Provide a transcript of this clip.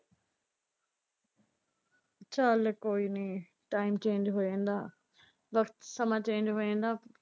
ਚੱਲ ਕੋਈ ਨਈਂ ਟਾਈਮ ਚੇਂਜ ਹੋ ਜਾਂਦਾ, ਵਕ਼ਤ ਸਮਾਂ ਚੇਂਜ ਹੋ ਜਾਂਦਾ।